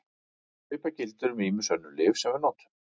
Svipað gildir um ýmis önnur lyf sem við notum.